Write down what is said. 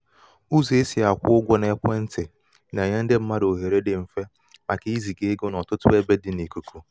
ụzọ̀ e sị̀ àkwụ sị̀ àkwụ ụgwọ̄ n’ekwentị̀ nà-ènye ndị mmadụ̀ òhèrè dị m̀fe màkà izìgà egō n’ọ̀tụtụ ebe dị̄ n’ìkùkù.